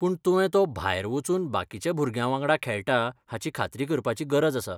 पूण तुवें तो भायर वचून बाकीच्या भुरग्यांवांगडा खेळटा हाची खात्री करपाची गरज आसा.